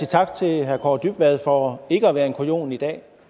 tak til herre kaare dybvad for ikke at være en kujon i dag